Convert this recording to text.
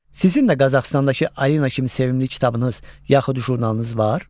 Sizin də Qazaxıstandakı Arina kimi sevimli kitabınız yaxud jurnalınız var?